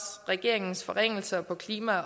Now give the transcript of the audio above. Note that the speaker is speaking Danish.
regeringens forringelser på klima